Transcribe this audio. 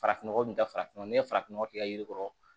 Farafinnɔgɔ kun ta farafinɔgɔ ni farafinnɔgɔ kɛ yiri kɔrɔ